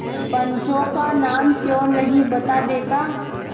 पंचों का नाम क्यों नहीं बता देता